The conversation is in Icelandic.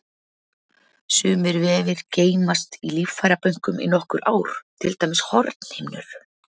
Sumir vefir geymast í líffærabönkum í nokkur ár, til dæmis hornhimnur.